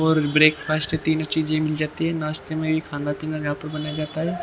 और ब्रेकफास्ट तीनों चीजें मिल जाती है नाश्ते में भी खाना पीना यहाँ पर बनाया जाता है।